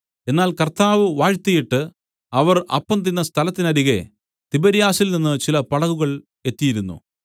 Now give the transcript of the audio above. എന്നാൽ കർത്താവ് വാഴ്ത്തിയിട്ട് അവർ അപ്പം തിന്ന സ്ഥലത്തിന്നരികെ തിബര്യാസിൽനിന്ന് ചില പടകുകൾ എത്തിയിരുന്നു